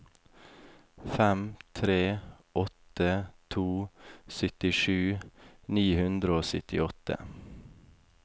fem tre åtte to syttisju ni hundre og syttiåtte